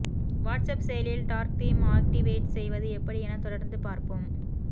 WhatsApp செயலியில் dark theme activate செய்வது எப்படி என தொடர்ந்து பார்ப்போம்